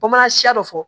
Bamanan siya dɔ fɔ